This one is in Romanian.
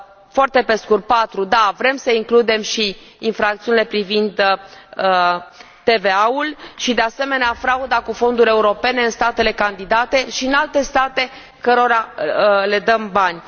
Foarte pe scurt patru da, vrem să includem și infracțiunile privind TVA ul și, de asemenea, frauda cu fonduri europene în statele candidate și în alte state cărora le dăm bani.